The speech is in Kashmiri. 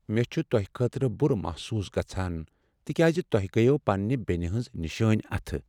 مےٚ چھ تۄہہ خٲطرٕ بُرٕ محسوس گژھان تکیاز تۄہہ گٔیوٕ پنٛنہ بینہ ہٕنٛز نِشٲنۍ اتھہٕ ۔